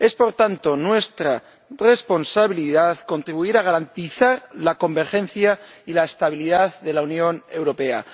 Es, por tanto, nuestra responsabilidad contribuir a garantizar la convergencia y la estabilidad de la Unión Europea